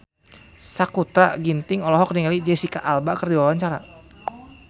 Sakutra Ginting olohok ningali Jesicca Alba keur diwawancara